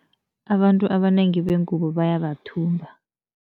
Abantu abanengi bengubo bayabathumba.